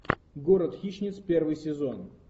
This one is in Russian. город хищниц первый сезон